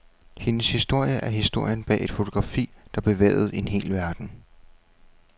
Hendes historie er historien bag et fotografi, der bevægede en hel verden.